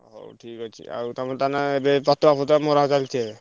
ହଉ ଠିକ୍ ଅଛି, ଆଉ ତମେ ତାହେଲେ ଏବେ ପତକା ଫତକା ମରା ଚାଲିଚି ଏବେ?